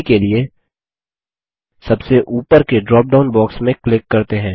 अभी के लिए सबसे उपर के ड्रॉप डाउन बॉक्स में क्लिक करते हैं